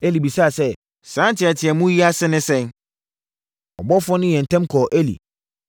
Eli bisaa sɛ, “Saa nteateamu yi ase ne sɛn?” Ɔbɔfoɔ no yɛɛ ntɛm kɔɔ Eli,